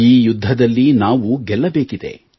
ಈ ಯುದ್ಧದಲ್ಲಿ ನಾವು ಗೆಲ್ಲಬೇಕಿದೆ